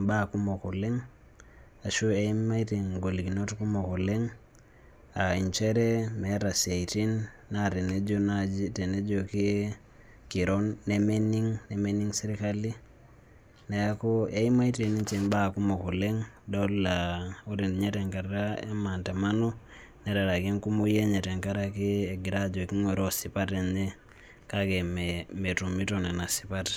mbaa kumok oleng ashua eimaitie igolikinot kumok oleng, aa nchere meeta isiaatin oo kiroo nemening sirkali, neeku eimaitie igolikinot kumok idol ajo ore ekumooi enye etuaata ejo kigorroo sipat enye kake metumito Nena sipat.